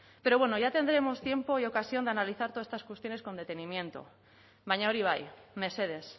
pero bueno ya tendremos tiempo y ocasión de analizar todas estas cuestiones con detenimiento baina hori bai mesedez